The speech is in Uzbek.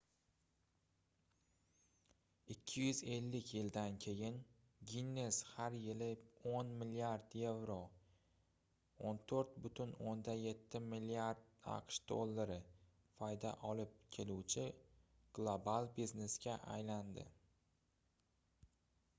250 yildan keyin ginnes har yili 10 milliard yevro 14,7 milliard aqsh dollari foyda olib keluvchi global biznesga aylandi